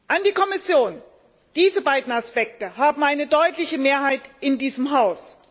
An die Kommission Diese beiden Aspekte haben eine deutliche Mehrheit in diesem Haus.